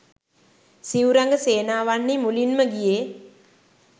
සිව් රඟ සේනාවන්හි මුලින්ම ගියේ